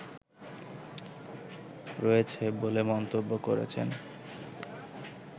রয়েছে বলে মন্তব্য করেছেন